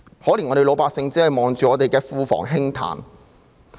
可憐我們的老百姓只能看着庫房輕歎。